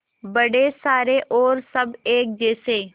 बड़े सारे और सब एक जैसे